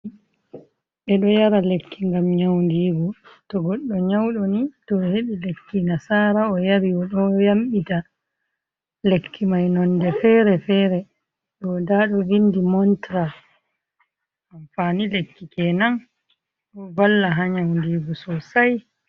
Bedo yara lekki gam nyaundigu to goddo nyaudoni to o hebi lekki nasara oyari odo yambita, lekki mai nonde fere-fere doda dovindi montra amfani lekki kenan do valla ha nyaundigo sosai.